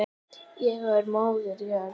Ég og Móðir jörð.